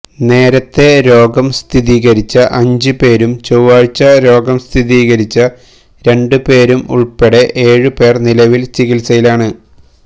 നേരത്തെ രോഗം സ്ഥിരീകരിച്ച അഞ്ച് പേരും ചൊവ്വാഴ്ച രോഗം സ്ഥിരീകരിച്ച രണ്ട് പേരും ഉള്പ്പെടെ ഏഴ് പേര് നിലവില് ചികിത്സയിലാണ്